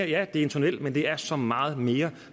ja det er en tunnel men det er også så meget mere